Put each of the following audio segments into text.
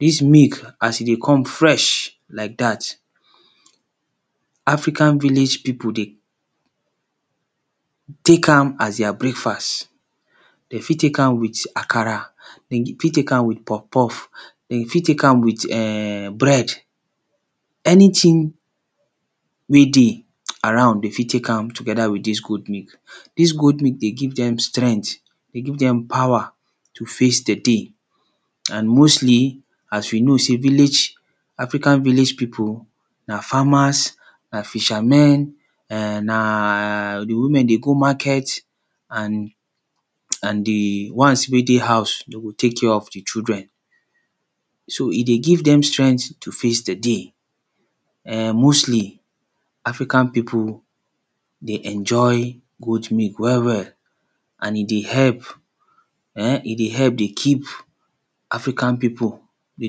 Dis milk as e dey come fresh like dat, African village pipu dey take as a dia breakfast, dem fit take am as akara, dem fit take am with puff puff, dem fit take am with bread anytin wey dey around dem fit take am togeda with dis goat milk. Dis goat milk dey give dem strength, dey give dem power to face di day and mostly as we know sey village, african village pipu na farmers and Fisher men and na di women dey go market and, and di ones wey dey house dey go take care of di children, so e dey give dem strength to face di day mostly African pipu dey enjoy goat milk well well and e dey help, e dey help dey keep African pipu dey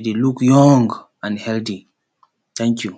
dey look young and healthy, tank you.